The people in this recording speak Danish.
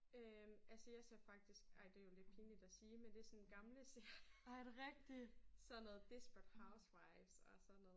Øh altså jeg ser faktisk ej det jo lidt pinligt at sige men det sådan gamle serier sådan noget desperate housewives og sådan noget